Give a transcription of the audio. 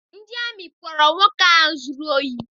Ndị amị kpọọrọ nwoke ahụ zụrụ ohi.